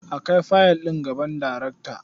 A kai fayil ɗin gaban darekta.